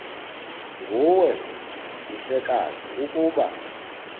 nguwe mhlekazi ukuba